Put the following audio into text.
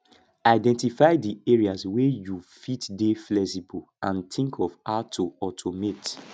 identify di areas wey you fit dey flexible and think of how to automate